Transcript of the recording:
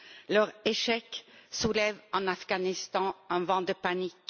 Leur échec soulève en Afghanistan un vent de panique.